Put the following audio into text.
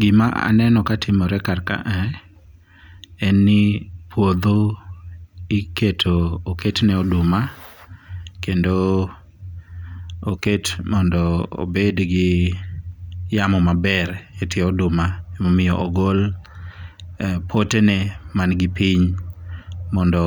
Gima aneno ka timore kar ka a en ni puodho iketo oketne oduma kendo oket mondo obed gi yamo maber e tie oduma ema omiyo ogol potene man gi piny mondo